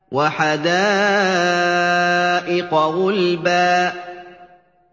وَحَدَائِقَ غُلْبًا